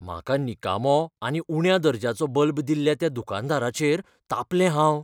म्हाका निकामो आनी उण्या दर्ज्याचो बल्ब दिल्ल्या त्या दुकानदाराचेर तापलें हांव.